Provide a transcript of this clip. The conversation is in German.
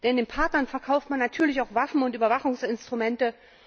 Denn den Partnern verkauft man natürlich auch Waffen und Überwachungsinstrumente.